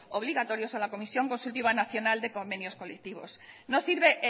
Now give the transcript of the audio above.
obligatorias a la comisión consultiva nacional de convenios colectivos no sirve